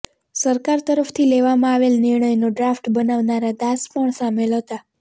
સરકાર તરફથી લેવામાં આવેલ નિર્ણયનો ડ્રાફ્ટ બનાવનારા દાસ પણ સામેલ હતા